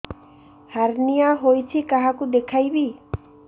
hernia ହୋଇଛି କାହାକୁ ଦେଖେଇବି